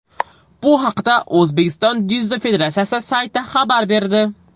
Bu haqda O‘zbekiston dzyudo federatsiyasi sayti xabar berdi .